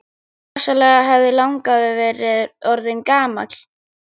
Rosalega hefði langafi verið orðinn gamall!